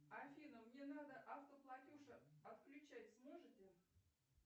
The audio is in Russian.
афина мне надо автоплатеж отключать сможете